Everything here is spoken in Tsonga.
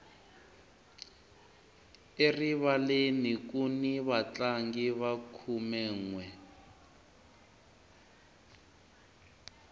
erivaleni kuni vatlangi va khumenwe